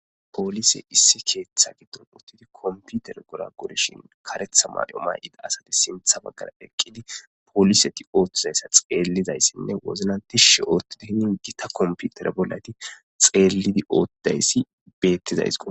Poolise issi keeththa giddon uttidi komputer gora goreshin karetha mayo may7ida asati sintha baggara eqqidi poliseti ooththizayssa xeellizayssinne wozlantishe oottida hinin gita komputere bollati xeellidi oottayssi beettizaysako.